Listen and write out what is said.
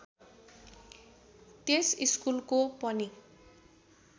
त्यस स्कुलको पनि